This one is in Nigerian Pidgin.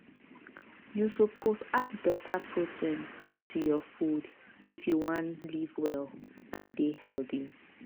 you suppose add better protein to your food if you wan live well and dey healthy.